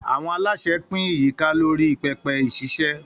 Àwọn aláṣẹ pín ìyíká lórí pẹpẹ ìṣiṣẹ́.